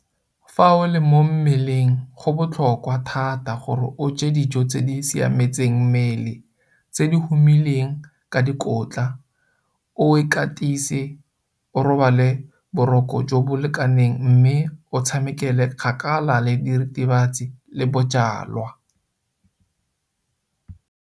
Fa o le mo mmeleng go botlhokwa thata gore o je dijo tse di siametseng mmele tse di humileng ka dikotla, o ikatise, o robale boroko jo bo lekaneng mme o tshamekele kgakala le diritibatsi le bojalwa.